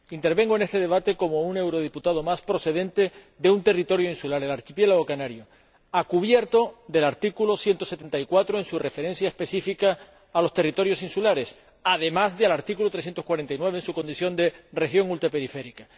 Intervengo en este debate como un eurodiputado más procedente de un territorio insular, el archipiélago canario, cubierto por el artículo 174 del Tratado en su referencia específica a los territorios insulares, además de por el artículo 349 por su condición de región ultraperiférica.